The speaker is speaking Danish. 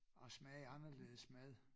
At smage anderledes mad